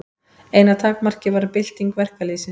Eina takmarkið var bylting verkalýðsins.